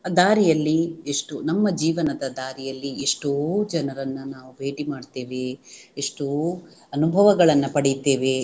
ದಾರಿಯಲ್ಲಿ ಎಷ್ಟೊ ನಮ್ಮ ಜೀವನದ ದಾರಿಯಲ್ಲಿ ಎಷ್ಟೋ ಜನರನ್ನ ನಾವು ಭೇಟಿ ಮಾಡ್ತೇವೆ ಎಷ್ಟೋ ಅನುಭವಗಳನ್ನ ಪಡಿತೇವೆ